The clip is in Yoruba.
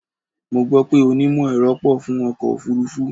Mo gbó pé onímọ̀-ẹ̀rọ pọ̀ fún ọkọ̀ òfúrúfú.